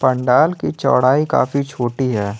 पंडाल की चौड़ाई काफी छोटी है।